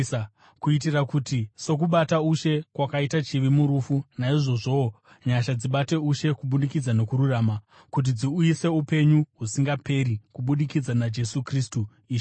kuitira kuti sokubata ushe kwakaita chivi murufu, naizvozvowo nyasha dzibate ushe kubudikidza nokururama, kuti dziuyise upenyu husingaperi kubudikidza naJesu Kristu, Ishe wedu.